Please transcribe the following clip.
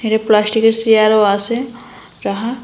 এরে প্লাস্টিকের সেয়ারও আছে রাহা ।